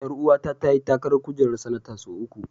Ƴaruwa ta ta yi takarar kujerar sanata sau uku.